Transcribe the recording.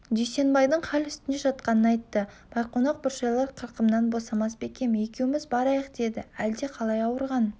дүйсенбайдың хал үстінде жатқанын айтты байқонақ бұршайлар қырқымнан босамас бекем екеуіміз барайық деді әлде қалай ауырған